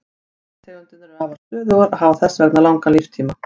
Gastegundirnar eru afar stöðugar og hafa þess vegna langan líftíma.